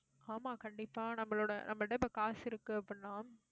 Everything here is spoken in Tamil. ஆமா, கண்டிப்பா நம்மளோட நம்மகிட்ட இப்ப காசு இருக்கு அப்படின்னா